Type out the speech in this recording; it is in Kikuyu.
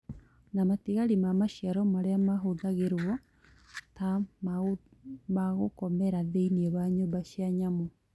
na matigari ma maciaro marĩa mahũthagĩrwo ta magũkomera thĩinĩ wa nyũmba cia nyamũ